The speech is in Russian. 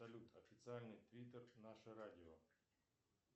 салют официальный твиттер наше радио